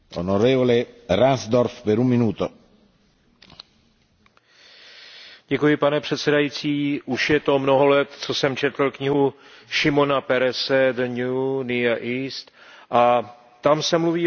Pane předsedající, už je to mnoho let, co jsem četl knihu Šimona Perese a tam se mluví o tom, že spojení izraelské technologie a kapitálu s arabskými zdroji